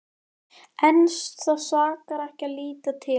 En það sakar ekki að líta til hennar.